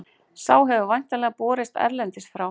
Sá hefur væntanlega borist erlendis frá.